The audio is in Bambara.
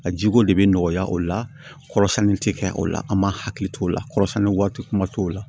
A jiko de bɛ nɔgɔya o la kɔrɔsɛni tɛ kɛ o la an m'a hakili t'o la kɔrɔsɛni waati kuma t'o la